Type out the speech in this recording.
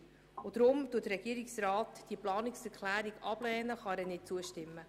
Deshalb kann der Regierungsrat dieser Planungserklärung nicht zustimmen.